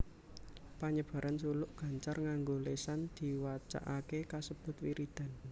Panyebaran suluk gancar nganggo lésan diwacakaké kasebut wiridan